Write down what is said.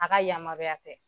A ka yamaruya tɛ.